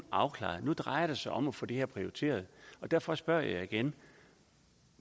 afklaret og nu drejer det sig om at få det her prioriteret og derfor spørger jeg igen